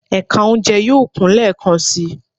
Ẹka ounjẹ yoo kun lẹẹkansi